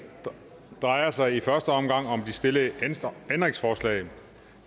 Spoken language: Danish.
drejer sig i første omgang om de stillede ændringsforslag